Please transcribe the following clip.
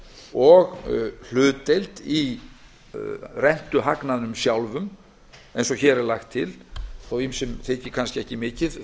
og hlutdeild í rentuhagnaðinum sjálfum eins og hér er lagt til þótt ýmsum þyki það kannski ekki mikið